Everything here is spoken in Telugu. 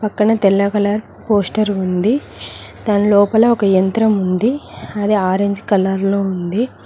పక్కన తెల్ల కలర్ పోస్టర్ ఉంది దాని లోపల ఒక యంత్రం ఉంది అది ఆరెంజ్ కలర్ లో ఉంది.